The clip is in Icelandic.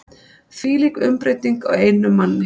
Þvílík umbreyting á einum manni.